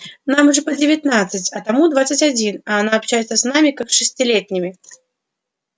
нам же по девятнадцать а тому двадцать один а она общается с нами как с шестилетними